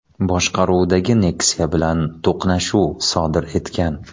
boshqaruvidagi Nexia bilan to‘qnashuv sodir etgan.